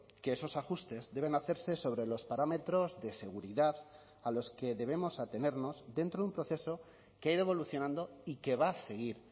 que esos ajustes deben hacerse sobre los parámetros de seguridad a los que debemos atenernos dentro de un proceso que ha ido evolucionando y que va a seguir